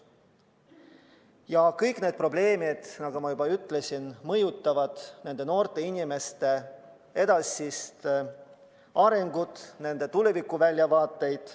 Ja kõik need probleemid, nagu ma juba ütlesin, mõjutavad noorte inimeste edasist arengut, nende tulevikuväljavaateid.